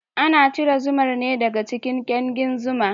Ana cire zumar ne daga cikin kyankin zuma.